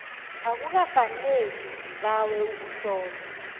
akukafaneli zibawe ukuhlolwa